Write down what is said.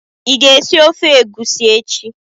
ị ga-esi ofe egusi echi?